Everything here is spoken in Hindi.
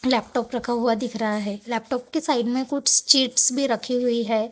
लैपटॉप रखा हुआ दिख रहा है लैपटॉप की साइड में कुछ चीट्स भी रखी हुई है।